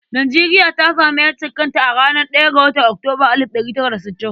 Nijeriya ta sami ƴancin kanka a ranar ɗaya ga watan Oktoba alid da ɗari tara da sittin.